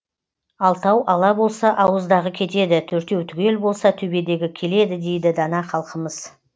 алтау ала болса ауыздағы кетеді төртеу түгел болса төбедегі келеді дейді дана халқымыз